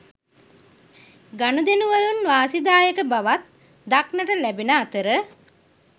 ගනුදෙනුවලින් වාසිදායක බවක් දක්නට ලැබෙන අතර